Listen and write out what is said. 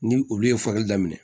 Ni olu ye fali daminɛ